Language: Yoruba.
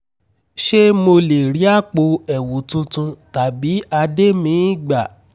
ṣé mo lè rí àpò ẹ̀wù tuntun tàbí adé míì gbà?